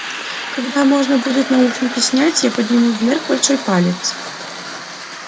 когда можно будет наушники снять я подниму вверх большой палец